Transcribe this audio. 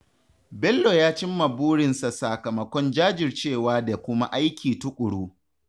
Bello ya cim ma burinsa sakamakon jajircewa da kuma aiki tuƙuru.